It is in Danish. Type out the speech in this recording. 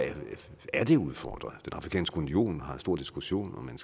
er det udfordret den afrikanske union har en stor diskussion om man